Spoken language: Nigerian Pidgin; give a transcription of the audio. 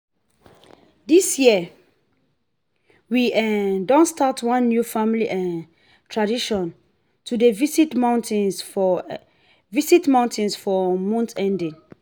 this year we um don start one new family um tradition to dey visit mountains for visit mountains for month ending.